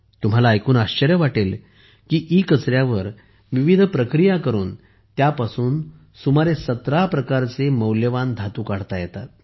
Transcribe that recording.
तुम्हाला ऐकून आश्चर्य वाटेल की इ कचऱ्यावर विविध प्रक्रिया करून त्यापासून सुमारे 17 प्रकारचे मौल्यवान धातू काढता येतात